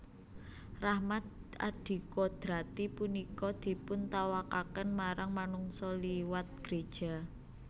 Rahmat adikodrati punika dipuntawakaken marang manungsa liwat gréja